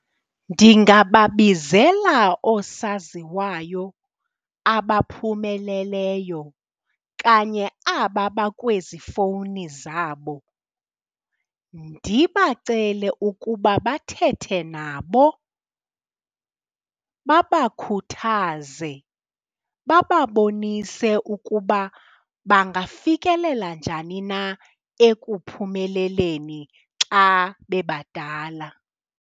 Ndingababizela oosaziwayo abaphumeleleyo kanye aba bakwezi fowuni zabo, ndibacele ukuba bathethe nabo babakhuthaze, bababonise ukuba bangafikelela njani na ekuphumeleleni xa bebadala.